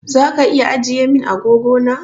Zaka iya ajiye min agogo na?